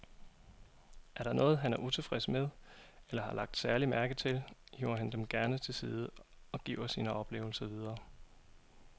Er der noget, han er utilfreds med eller har lagt særlig mærke til, hiver han dem gerne til side og giver sine oplevelser videre.